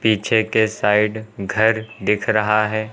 पीछे के साइड घर दिख रहा है।